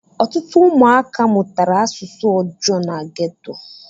Ọtụtụ ụmụaka mụtara asụsụ ọjọọ na ghetto